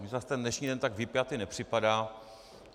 Mně zase ten dnešní den tak vypjatý nepřipadá.